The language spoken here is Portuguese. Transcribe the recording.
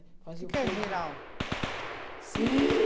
O que que é giral? Se...